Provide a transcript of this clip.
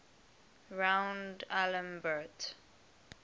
rond alembert